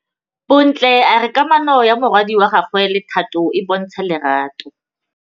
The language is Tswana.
Bontle a re kamanô ya morwadi wa gagwe le Thato e bontsha lerato.